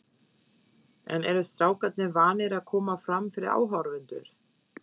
En eru strákarnir vanir að koma fram fyrir áhorfendur?